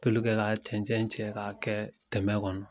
Pelu kɛ ka cɛn cɛn cɛ k'a kɛ tɛmɛ kɔnɔ